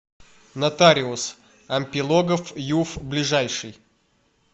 нотариус ампилогов юв ближайший